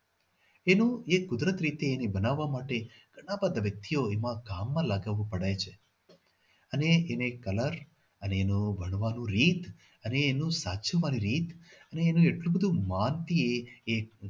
એનું એ કુદરત રીતે એને બનાવવા માટે ઘણા બધા વ્યક્તિઓ આ કામ માં લગાવવા પડતું હોય છે. અને એને colour અને એને વણવાનો રીત અને એનું સાચવવાનું રીત અને એટલું બધું માન થી એ